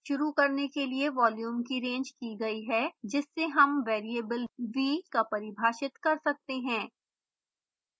शुरू करने के लिए volume की range की गई है जिससे हम वेरिएबल v का परिभाषित कर सकते हैं